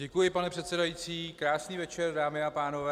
Děkuji, pane předsedající, krásný večer, dámy a pánové.